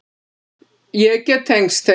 Ég get tengst þeim.